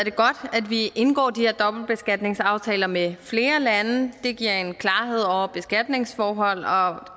at vi indgår de her dobbeltbeskatningsaftaler med flere lande det giver en klarhed over beskatningsforhold og